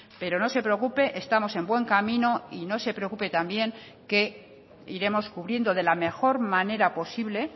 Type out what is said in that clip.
pero no se preocupe estamos en buen camino y no se preocupe también que iremos cubriendo de la mejor manera posible